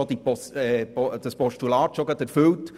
Somit ist das Postulat gleich erfüllt.